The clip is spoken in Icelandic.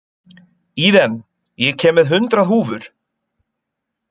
Íren, ég kom með hundrað húfur!